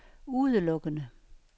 udelukkende